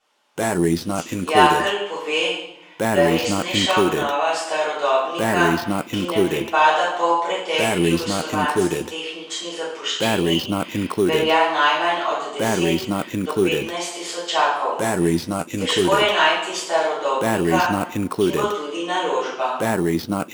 Jakelj pove, da resnejša obnova starodobnika, ki ne pripada polpretekli jugoslovanski tehnični zapuščini, velja najmanj od deset do petnajst tisočakov: 'Težko je najti starodobnika, ki bo tudi naložba.